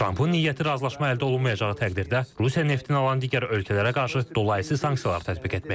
Trampın niyyəti razılaşma əldə olunmayacağı təqdirdə Rusiya neftini alan digər ölkələrə qarşı dolayı sanksiyalar tətbiq etməkdir.